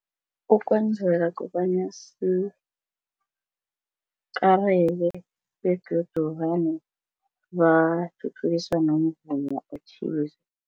Ukwenzeka kobanya sikareke begodu vane bathuthukisa nomvumo othize.